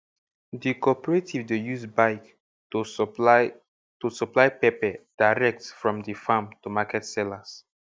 the corporative dey use bike to supply to supply pepper direct from the farm to market sellers